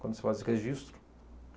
Quando se faz registro.